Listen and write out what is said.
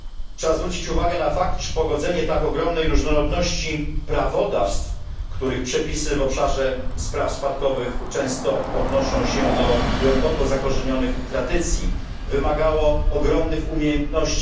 Trzeba zwrócić uwagę na fakt, iż pogodzenie tak ogromnej różnorodności prawodawstw, których przepisy w obszarze spraw spadkowych często odnoszą się do głęboko zakorzenionych tradycji, wymagało ogromnych umiejętności.